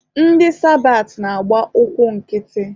Ndị sabat na-agba ụkwụ nkịtị.